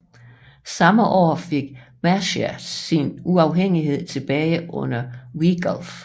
Samme år fik Mercia sin uafhængighed tilbage under Wiglaf